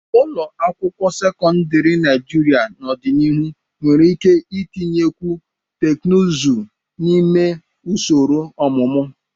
Ụlọ akwụkwọ sekọndrị Naijiria n'ọdịnihu nwere ike itinyekwu teknụzụ n'ime usoro ọmụmụ.